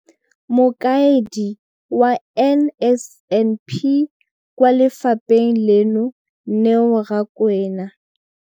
Mokaedi wa NSNP kwa lefapheng leno, Neo Rakwena.